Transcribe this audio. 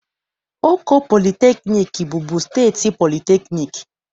Oko Polytechnic bụbu steeti polytechnic